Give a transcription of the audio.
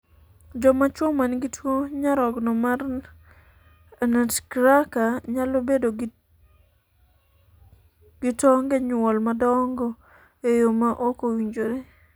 jomachuo man gi tuo nyarogno mar anutcracker nyalo bedo gi tonge nyuol madongo e yo ma ok owinjore